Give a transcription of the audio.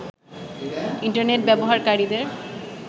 internet ব্যবহারকারীদের